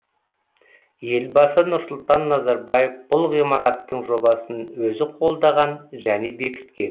елбасы нұрсұлтан назарбаев бұл ғимараттың жобасын өзі қолдаған және бекіткен